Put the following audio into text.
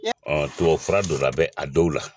tubabufura dɔ la bɛ a dɔw la